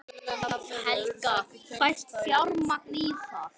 Helga: Fæst fjármagn í það?